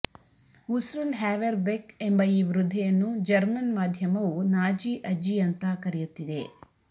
ಉಸ್ರುಲ್ Haverbeck ಎಂಬ ಈ ವೃದ್ಧೆಯನ್ನು ಜರ್ಮನ್ ಮಾಧ್ಯಮವು ನಾಜಿ ಅಜ್ಜಿ ಅಂತಾ ಕರೆಯುತ್ತಿವೆ